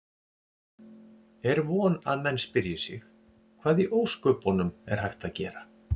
Er von að menn spyrji sig: Hvað í ósköpunum er hægt að gera?